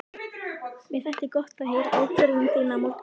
Mér þætti gott að heyra ákvörðun þína á morgun.